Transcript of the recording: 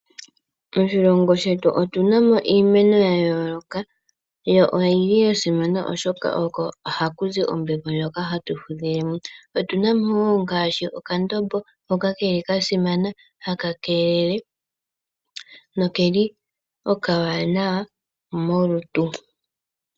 Moshilongo shetu otu na mo iimeno ya yoloka yo oyili yasimana oshoka oko haku zi ombepo, ndjoka hatu fudhile mo. Otu na mo nga ngaashi okandombo hoka keli kasimana haka keelele nokeli oka wanawa molutu.